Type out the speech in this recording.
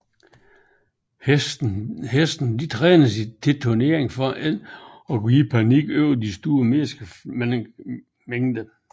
Hestene trænes til turnering for ikke at gå i panik over de store menneskemængder